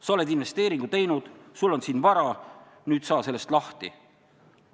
Sa oled investeeringu teinud, sul on siin vara, nüüd saa sellest lahti!